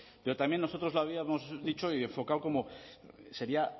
pero también nosotros lo habíamos dicho y enfocado como sería